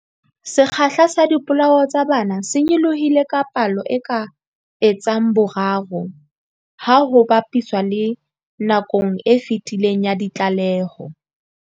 Sekgahla sa dipolao tsa bana se nyolohile ka palo e ka etsang boraro ha ho ba piswa le nakong e fetileng ya ditlaleho.